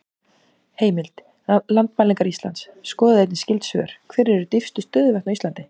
Heimild: Landmælingar Íslands Skoðið einnig skyld svör: Hver eru dýpstu stöðuvötn á Íslandi?